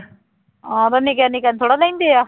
ਆਹੋ ਤੇ ਨਿੱਕਿਆਂ ਨਿੱਕਿਆਂ ਨੂੰ ਥੋੜ੍ਹਾ ਲੈਂਦੇ ਆ